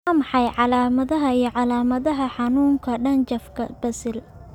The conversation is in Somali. Waa maxay calaamadaha iyo calaamadaha xanuunka dhanjafka basil?